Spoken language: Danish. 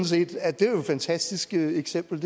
set at det er et fantastisk eksempel